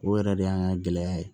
O yɛrɛ de y'an ka gɛlɛya ye